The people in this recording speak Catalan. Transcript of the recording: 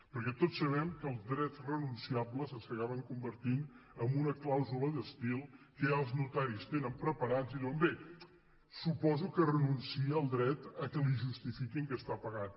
perquè tots sabem que els drets renunciables s’acaben convertint en una clàusula d’estil que ja els notaris tenen preparada i diuen bé suposo que renuncia al dret que li justifiquin que està pagat